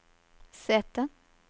sete